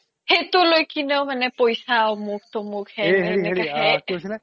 সেইতো লই কিনেও মানে পইচা অমোক তমোক হেন